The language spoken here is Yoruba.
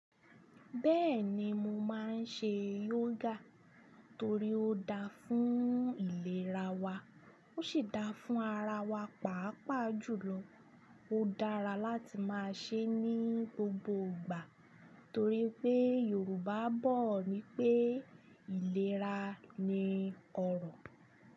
Bẹ́ẹ̀ni mo máa ń ṣe yógà torí ó dáa fún ìlera wa, ó ṣi dáa fún ara wa, pàápàá jùlọ ó dára láti máa ṣe é ní gbogbo ìgbà torí pé Yorùbá bọ̀ wípé ìlera ni ọrọ̀.